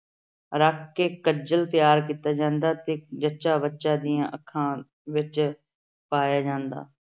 ਰੱਖ ਕੇ ਕੱਜਲ ਤਿਆਰ ਕੀਤਾ ਜਾਂਦਾ ਤੇ ਜੱਚਾ-ਬੱਚਾ ਦੀਆਂ ਅੱਖਾਂ ਵਿੱਚ ਪਾਇਆ ਜਾਂਦਾ।